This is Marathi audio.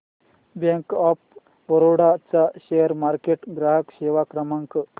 बँक ऑफ बरोडा चा शेअर मार्केट ग्राहक सेवा क्रमांक